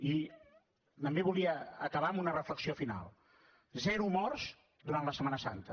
i també volia acabar amb una reflexió final zero morts durant la setmana santa